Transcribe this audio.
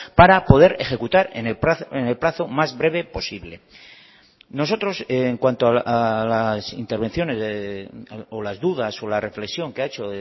para poder ejecutar en el plazo más breve posible nosotros en cuanto a las intervenciones o las dudas o la reflexión que ha hecho